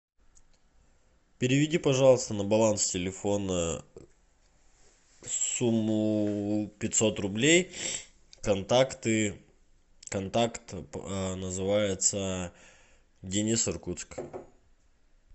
переведи пожалуйста на баланс телефона сумму пятьсот рублей контакты контакт называется денис иркутск